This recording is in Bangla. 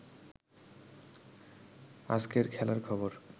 আজকের খেলার খবর